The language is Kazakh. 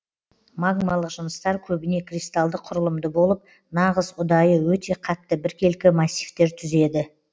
магмалық жыныстар көбіне кристалды құрылымды болып нағыз ұдайы өте қатты біркелкі массивтер түзеді